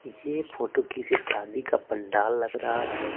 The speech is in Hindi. ये फोटो की से शादी का पंडाल लग रहा है।